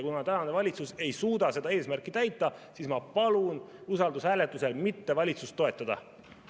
Kuna tänane valitsus ei suuda seda eesmärki täita, siis ma palun usaldushääletusel valitsust mitte toetada.